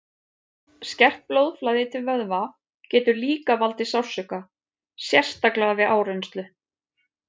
Skert blóðflæði til vöðva getur líka valdið sársauka, sérstaklega við áreynslu.